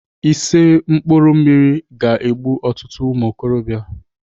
Ise mkpụrụ mmiri ga-egbu ọtụtụ ụmụokorobịa.